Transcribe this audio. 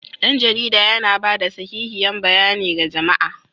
Dan jarida yana ba da sahihiyan bayanai ga jama'a.